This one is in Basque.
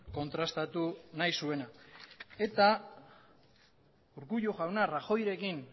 kontrastatu nahi zuena eta urkullu jauna rajoyrekin